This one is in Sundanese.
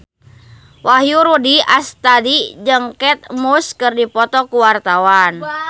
Wahyu Rudi Astadi jeung Kate Moss keur dipoto ku wartawan